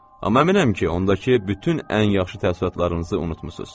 Amma əminəm ki, ondakı bütün ən yaxşı təəssüratlarınızı unudmusunuz.